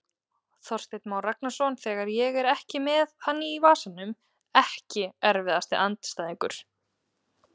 Þorsteinn Már Ragnarsson þegar ég er ekki með hann í vasanum Ekki erfiðasti andstæðingur?